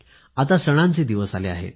आता तर सणांचे दिवस आले आहेत